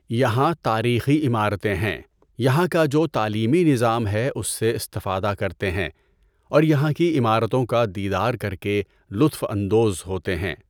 یہاں تاریخی عمارتیں ہیں۔ یہاں کا جو تعلیمی نظام ہے اُس سے استفادہ کرتے ہیں اور یہاں کی عمارتوں کا دیدار کر کے لُطف اندوز ہوتے ہیں۔